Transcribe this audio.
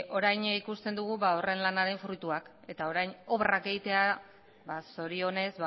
orain ikusten dugu horren lanaren fruituak eta orain obrak egitea zorionez